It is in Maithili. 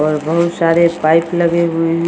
और बहुत सारे पाइप लगे हुए है ।